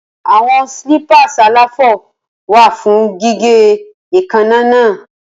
Awọn clippers àlàfo wa fun gige eekanna.